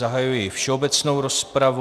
Zahajuji všeobecnou rozpravu.